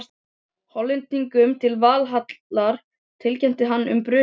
Hollendingurinn til Valhallar og tilkynnti um brunann.